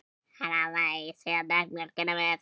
Hann hámaði það í sig og drakk mjólk með.